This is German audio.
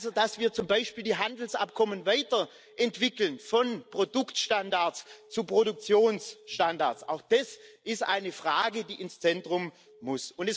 Also dass wir zum Beispiel die Handelsabkommen weiterentwickeln, von Produktstandards zu Produktionsstandards, auch das ist eine Frage, die ins Zentrum muss.